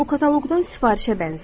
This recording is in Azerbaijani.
Bu kataloqdan sifarişə bənzəyir.